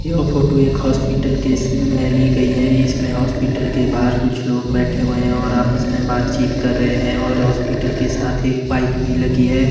यह फोटो एक hospital case में ली गई है इसमें हॉस्पिटल के बाहर कुछ लोग बैठे हुए हैं और आपस में बातचीत कर रहे हैं और हॉस्पिटल के साथ एक बाइक भी लगी है।